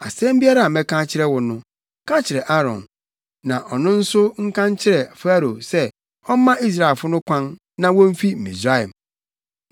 Asɛm biara a mɛka akyerɛ wo no, ka kyerɛ Aaron, na ɔno nso nka nkyerɛ Farao sɛ ɔmma Israelfo no kwan na womfi Misraim.